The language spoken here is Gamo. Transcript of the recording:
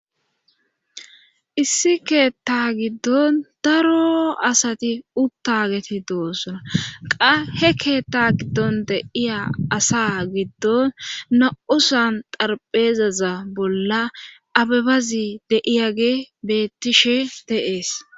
Issi keetta giddon daro asati uttageti doosona qa he keetta giddon deiya asa giddon na'usan xarpheezaza bolla abebazi deiyage bettishe de'ees.